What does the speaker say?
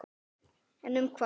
En um hvað?